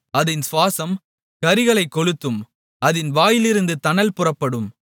அதின் சுவாசம் கரிகளைக் கொளுத்தும் அதின் வாயிலிருந்து தணல் புறப்படும்